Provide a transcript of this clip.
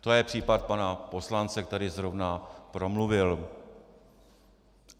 To je případ pana poslance, který zrovna promluvil.